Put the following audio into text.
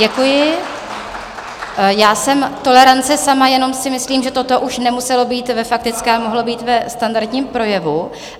Děkuji, já jsem tolerance sama, jenom si myslím, že toto už nemuselo být ve faktické, mohlo to být ve standardním projevu.